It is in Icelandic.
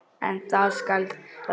En það skal þvera.